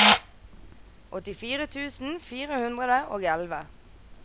åttifire tusen fire hundre og elleve